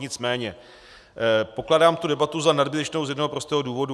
Nicméně pokládám tu debatu za nadbytečnou z jednoho prostého důvodu.